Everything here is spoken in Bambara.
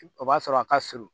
O b'a sɔrɔ a ka surun